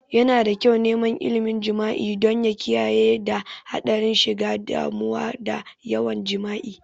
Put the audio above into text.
Yana da kyau neman ilmin jima'i don ya kiyayewa daga hadarin shiga damuwa da yawan jima'i